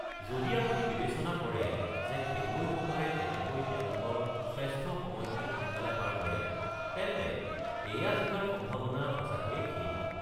যদি আপুনি বিবেচনা কৰে যে খেলুৱৈসকলে কেনেকৈ তেওঁলোকৰ শ্ৰেষ্ঠ সময়খিনি সোনকালে পাৰ কৰে, তেন্তে এইয়া জিকাৰ সম্ভাৱনা সঁচাকৈয়ে ক্ষীণ।